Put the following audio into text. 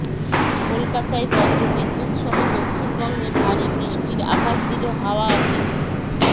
কলকাতায় বজ্রবিদ্যুৎ সহ দক্ষিণবঙ্গে ভারী বৃষ্টির আভাস দিল হাওয়া অফিস